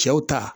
Cɛw ta